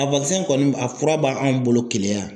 A kɔni a fura b'anw bolo keleya yan.